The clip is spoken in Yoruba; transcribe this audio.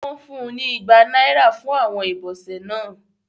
Wón fún ní igbá náírà fún Àwọn ibọsẹ náà